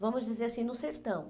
Vamos dizer assim, no sertão.